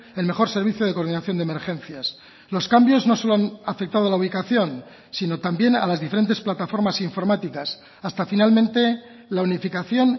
el mejor servicio de coordinación de emergencias los cambios no solo han afectado la ubicación sino también a las diferentes plataformas informáticas hasta finalmente la unificación